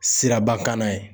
Sirabakanna ye